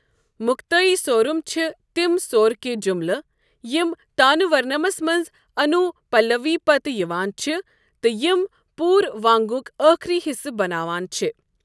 مکتٲیی سورم چھ تِم سورٕکۍ جملہٕ یِم تانہ ورنمس منٛز انوٗپلوی پتہٕ یوان چھ تہٕ یم پوٗروانٛگک ٲخری حصہٕ بناوان چھ۔